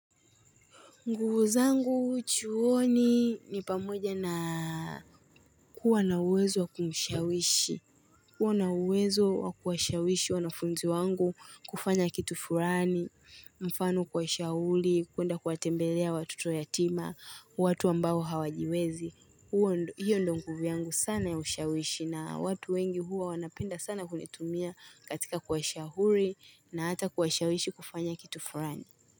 Nguvu zangu chuoni ni pamoja na kuwa na uwezo wa kumushawishi. Kuwa na uwezo wa kuwashawishi wanafunzi wangu kufanya kitu fulani. Mfano kuwashauri, kwenda kuwatembelea watoto yatima, watu ambao hawajiwezi. Hio ndio nguvu yangu sana ya ushawishi na watu wengi huwa wanapenda sana kunitumia katika kuwashauri na hata kuwashawishi kufanya kitu fulani.